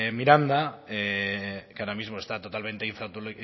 miranda que ahora mismo está totalmente